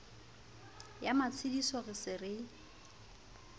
ya matshediso re se re